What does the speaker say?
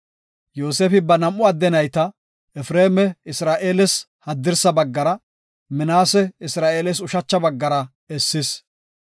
Yoosefi ba nam7u adde nayta, Efreema Isra7eeles haddirsa baggara, Minaase Isra7eeles ushacha baggara essis.